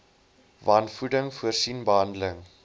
wanvoeding voorsien behandeling